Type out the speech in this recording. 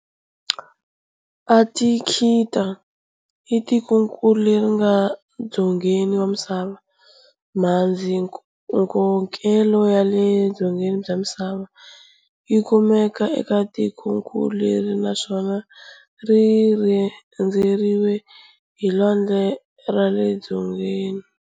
Antakthika i tikonkulu leri nga dzongeni wa misava. mhandzinkokelo ya le dzongeni bya misava yikumeka eka tikonkulu leri, naswona rirhendzeriwe hi lwandle ra le Dzongeni.